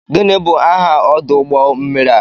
Gịnị bụ aha ọdụ ụgbọ mmiri a?